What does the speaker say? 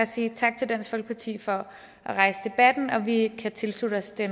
sige tak til dansk folkeparti for at rejse debatten og at vi kan tilslutte os det